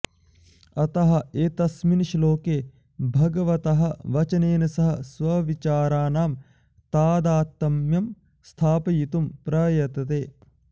अतः एतस्मिन् श्लोके भगवतः वचनेन सह स्वविचाराणां तादात्म्यं स्थापयितुं प्रयतते